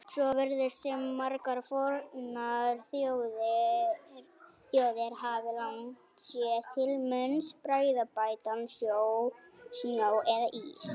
Svo virðist sem margar fornar þjóðir hafi lagt sér til munns bragðbættan snjó eða ís.